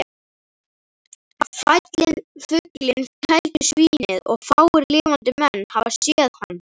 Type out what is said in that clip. Fælinn fugl keldusvínið og fáir lifandi menn hafa séð hann.